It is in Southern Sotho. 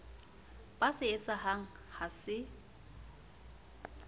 ba se etsahang ha se